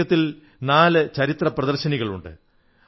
മ്യൂസിയത്തിൽ നാല് ചരിത്ര പ്രദർശനികളുണ്ട്